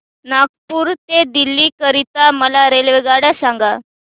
नागपुर ते दिल्ली करीता मला रेल्वेगाड्या सांगा